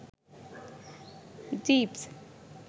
jeeps